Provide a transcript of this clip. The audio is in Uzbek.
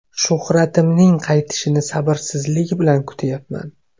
Shuhratimning qaytishini sabrsizlik bilan kutyapman.